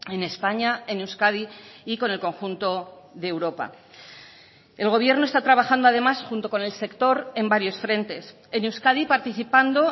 en españa en euskadi y con el conjunto de europa el gobierno está trabajando además junto con el sector en varios frentes en euskadi participando